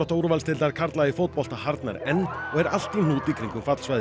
úrvalsdeildar karla í fótbolta harðnar enn og er allt í hnút í kringum